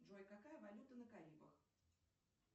джой какая валюта на карибах